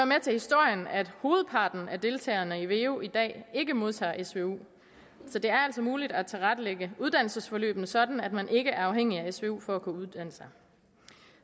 med til historien at hovedparten af deltagerne i veu ikke modtager svu så det er altså muligt at tilrettelægge uddannelsesforløbet sådan at man ikke er afhængig af svu for at kunne uddanne sig